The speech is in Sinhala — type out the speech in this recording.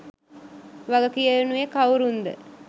වගකියනුයේ කවුරුන්ද